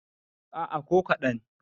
a' a ko kaɗan